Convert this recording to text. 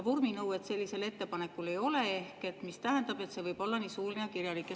Vorminõuet sellisel ettepanekul ei ole, mis tähendab, et see võib olla nii suuline kui ka kirjalik.